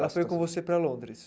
Ela foi com você para Londres?